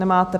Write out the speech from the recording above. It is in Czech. Nemáte.